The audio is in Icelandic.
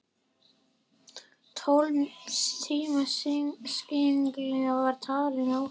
Tólf tíma sigling var talin ágæt ferð.